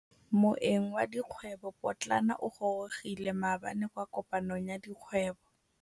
Moêng wa dikgwêbô pôtlana o gorogile maabane kwa kopanong ya dikgwêbô.